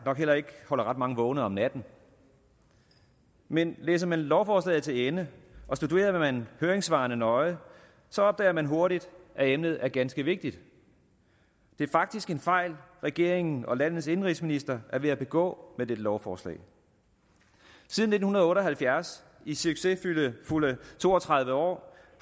nok heller ikke holder ret mange vågne om natten men læser man lovforslaget til ende og studerer man høringssvarene nøje opdager man hurtigt at emnet er ganske vigtigt det er faktisk en fejl regeringen og landets indenrigsminister er ved at begå med dette lovforslag siden nitten otte og halvfjerds i succesfulde to og tredive år